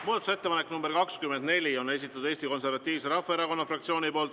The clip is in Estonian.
Muudatusettepaneku nr 24 on esitanud Eesti Konservatiivse Rahvaerakonna fraktsioon.